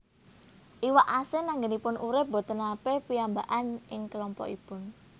Iwak asin anggenipun urip boten nate piyambakan ing kelompokipun